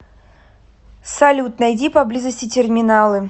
салют найди поблизости терминалы